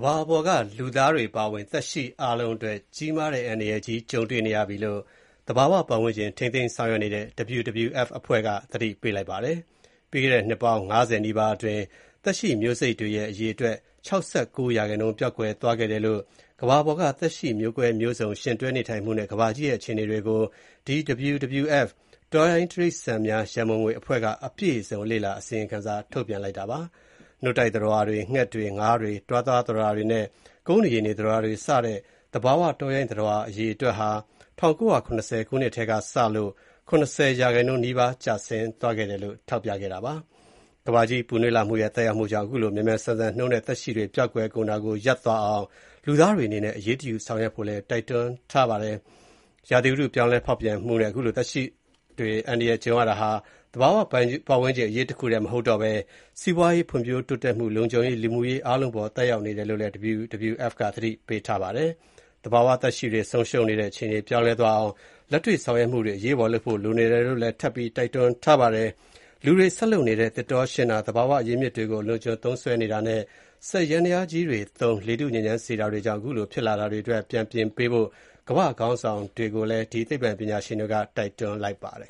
ဘာပေါ်က လူသားတွေအပါအဝင် သက်ရှိအားလုံးအတွက် အန္တရာယ်ကြီး ကြုံတွေ့နေရတယ်လို့ သဘာဝပတ်ဝန်းကျင် ထိန်းသိမ်းရေးဆောင်ရွက်နေတဲ့ WWF က သတိပေးလိုက်ပါတယ်။ ပြီးခဲ့တဲ့ နှစ်ပေါင်း ၅၀ နီးပါးအတွင်း သက်ရှိမျိုးစိတ်တွေရဲ့ အရေအတွက် ၆၉% ပျောက်ကွယ်သွားခဲ့တယ်လို့ ကမ္ဘာပေါ်က သက်ရှိမျိုးကွဲမျိုးစုံ ရှင်တွဲနေထိုင်မှုနဲ့ ကမ္ဘာကြီးရဲ့အခြေအနေတွေကို WWF ကအပြည့်အစုံ လေ့လာ အစီရင်ခံစာ ထုတ်ပြန်လိုက်တာဖြစ်ပါတယ်။ နို့တိုက်သတ္တဝါတွေ၊ ငှက်တွေ၊ ငါးတွေ၊ တွားသွားသတ္တဝါတွေနဲ့ ကုန်းနေရေနေသတ္တဝါတွေစတဲ့ သဘာဝတောရိုင်းသတ္တဝါအရေအတွက်ဟာ ၁၉၇၀ ခုနှစ်ထဲကစလို့ ၇၀% နီးပါး ကျဆင်းသွားခဲ့တယ်လို့ ထောက်ပြထားပါတယ်။ ကမ္ဘာကြီးပူနွေးလာမှုရဲ့ သက်ရောက်မှုကြောင့် ခုလို မြန်မြန်ဆန်ဆန်နှုန်းနဲ့ သက်ရှိတွေ ပျောက်ကွယ်ကုန်တာကို ရပ်သွားအောင် လူသားတွေအနေနဲ့ အရေးတယူဆောင်ရွက်ဖို့လည်း တိုက်တွန်းထားပါတယ်။ ဥတုရာသီ ပြောင်းလဲဖောက်ပြန်မှုနဲ့ ခုလို သဘာဝသက်ရှိတွေ အန္တရာယ်ကြုံနေရတာဟာ သဘာဝပတ်ဝန်းကျင် အရေးတခုပဲ မဟုတ်တော့ဘဲ စီးပွားရေး၊ ဖွံ့ဖြိုးတိုးတက်မှု၊ လုံခြုံရေး၊ လူမှုရေးအားလုံးအပေါ် သက်ရောက်နေတယ်လို့ WWF က သတိပေးပါတယ်။ သဘာဝသက်ရှိတွေ ဆုံးရှုံးနေတဲ့ အခြေအနေပြောင်းလဲသွားအောင် လက်တွေ့ ဆောင်ရွက်မှုတွေ အရေးပေါ်လုပ်ဖို့ လိုအပ်နေတယ်လို့လည်း ထပ်ပြီး တိုက်တွန်းထားပါတယ်။ လူတွေဆက်လုပ်နေတဲ့ သစ်တောရှင်းတာ၊ သဘာဝအရင်းအမြစ်တွေကို အလွန်အကျွံ သုံးစွဲနေတာနဲ့ စက်ယန္တယားကြီးတွေသုံး လေထုညစ်ညမ်းစေတာတွေကြောင့် အခုလိုဖြစ်လာတာအတွက် ပြန်ပြင်ဖို့ ကမ္ဘာ့ခေါင်းဆောင်တွေကို ဒီသိပ္ပံပညာရှင်တွေက တိုက်တွန်းလိုက်ပါတယ်